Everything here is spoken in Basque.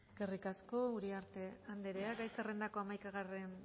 eskerrik asko uriarte anderea gai zerrendako hamaikagarren